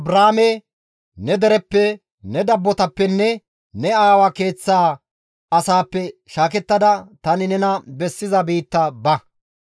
GODAY Abraame, «Ne dereppe, ne dabbotappenne ne aawa keeththa asaappe shaakettada tani nena bessiza biitta ba.